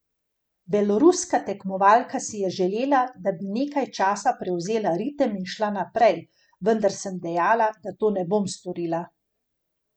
Beloruska tekmovalka si je želela, da bi nekaj časa prevzela ritem in šla naprej, vendar sem dejala, da to ne bom storila.